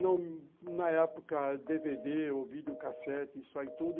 Na época, dê vê dê ou vídeo cassete, isso aí tudo.